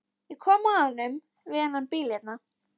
Ég kom að honum við þennan bíl hérna.